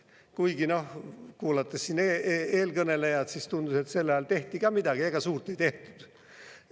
Kuigi siin eelkõnelejad kuulates tundus, et sel ajal tehti ka midagi – ega suurt ei tehtud.